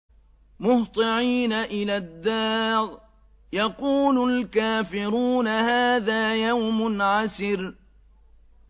مُّهْطِعِينَ إِلَى الدَّاعِ ۖ يَقُولُ الْكَافِرُونَ هَٰذَا يَوْمٌ عَسِرٌ